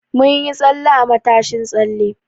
Mun yi tsalle a matashin tsalle.